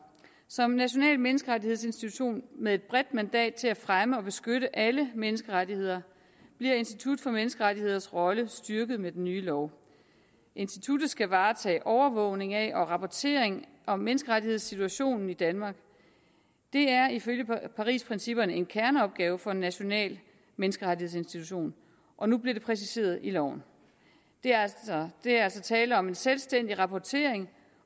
som en national menneskerettighedsinstitution med et bredt mandat til at fremme og beskytte alle menneskerettigheder bliver institut for menneskerettigheders rolle styrket med den nye lov instituttet skal varetage overvågning af og rapportering om menneskerettighedssituationen i danmark det er ifølge parisprincipperne en kerneopgave for en national menneskerettighedsinstitution og nu bliver det præciseret i loven der er altså tale om en selvstændig rapportering